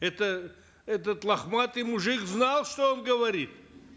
это этот лохматый мужик знал что он говорит